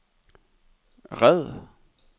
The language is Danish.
red